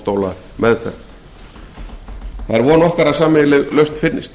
það er von okkar að sameiginleg lausn finnist